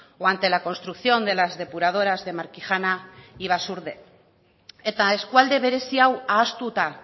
o ante la construcción de las depuradoras de markijana y basaurbe eta eskualde berezi hau ahaztuta